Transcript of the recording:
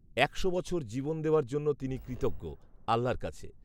একশো বছর জীবন দেওয়ার জন্য তিনি কৃতজ্ঞ, আল্লার কাছে